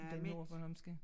Den nordbornholmske